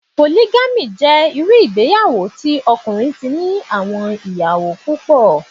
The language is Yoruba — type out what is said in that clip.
Pòlígámì jẹ́ irú ìgbéyàwó tí ọkùnrin ti ní àwọn ìyàwó púpọ̀